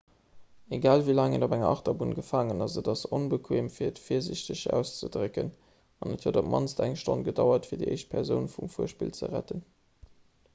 egal wéi laang een op enger achterbunn gefaangen ass et ass onbequeem fir et virsiichteg auszedrécken an et huet op d'mannst eng stonn gedauert fir déi éischt persoun vum fuerspill ze retten